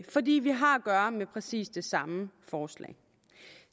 fordi vi har at gøre med præcis det samme forslag